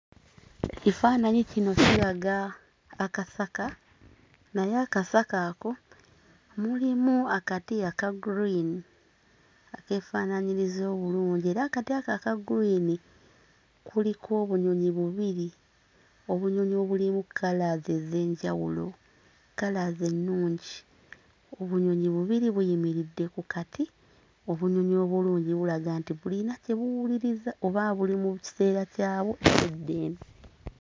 Kifaananyi kino kiraga akasaka naye akasaka ako mulimu akati aka gguliini akeefaanaanyiriza obulungi era akati ako aka gguliini kuliko obunyonyi bubiri, obunyonyi obulimu kkalaazi ez'enjawulo, kkalaazi ennungi. Obunyonyi bubiri buyimiridde ku kati obunyonyi obulungi bulaga nti bulina kye buwuliriza oba buli mu kiseera kyabwo eky'eddembe.